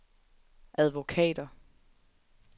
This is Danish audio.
advokater